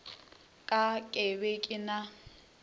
ka ke be ke na